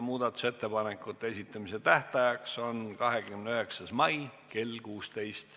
Muudatusettepanekute esitamise tähtaeg on 29. mai kell 16.